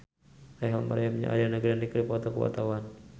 Rachel Maryam jeung Ariana Grande keur dipoto ku wartawan